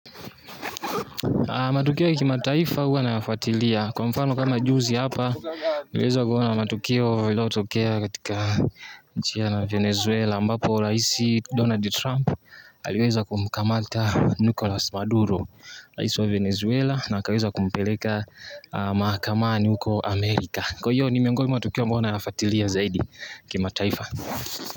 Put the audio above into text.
Matukio ya kimataifa huwa nayafuatilia. Kwamfano kama juzi hapa, niliweza kuona matukio yaliyotokea katika nchi ya Venezuela, ambapo raisi Donald Trump aliweza kumkamata Nicholas Maduro, raisi wa Venezuela, na akaweza kumpeleka mahakamani huko Amerika. Kwahiyo, ni miongoni mwa matukio ambayo nayafatilia zaidi kimataifa.